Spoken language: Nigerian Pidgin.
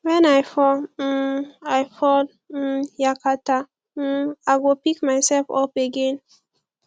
wen i fall um i fall um yakata um i go pick myself up again